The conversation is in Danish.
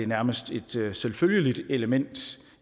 nærmest et selvfølgeligt element